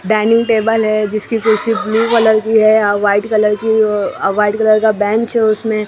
dining table है जिसकी कुर्सी ब्लू कलर की है या व्हाइट कलर की अह व्हाइट कलर का बेंच है उसमें --